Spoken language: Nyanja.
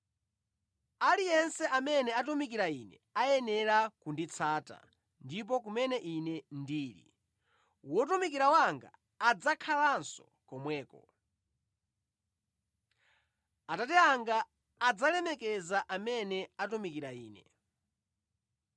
Aliyense amene atumikira Ine ayenera kunditsata; ndipo kumene Ine ndili, wotumikira wanga adzakhalanso komweko. Atate anga adzalemekeza amene atumikira Ine.